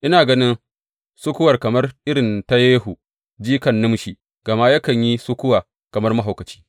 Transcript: Ina ganin sukuwar kamar irin ta Yehu, jikan Nimshi, gama yakan yi sukuwa kamar mahaukaci.